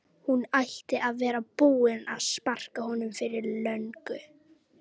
Hún ætti að vera búin að sparka honum fyrir löngu